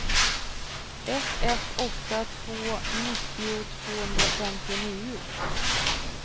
ett ett åtta två nittio tvåhundrafemtionio